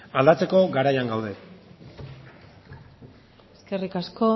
aldatzeko garaian gaude eskerrik asko